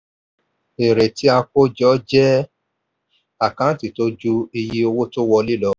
èrè tí a kó jọ jẹ́ àkántì tó ju iye owó wọlé lọ.